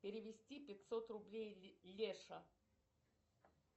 перевести пятьсот рублей леша